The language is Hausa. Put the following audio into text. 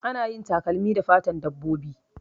Ana yin takalmi da fatn dabbobi